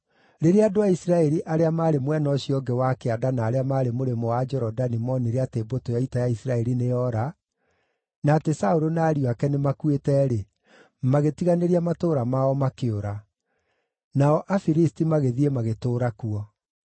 Rĩrĩa andũ a Isiraeli arĩa maarĩ mwena ũcio ũngĩ wa kĩanda na arĩa maarĩ mũrĩmo wa Jorodani moonire atĩ mbũtũ ya ita ya Isiraeli nĩyoora, na atĩ Saũlũ na ariũ ake nĩmakuĩte-rĩ, magĩtiganĩria matũũra mao makĩũra. Nao Afilisti magĩthiĩ magĩtũũra kuo.